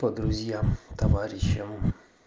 по друзьям товарищам